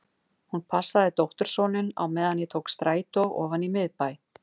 Hún passaði dóttursoninn á meðan ég tók strætó ofan í miðbæ.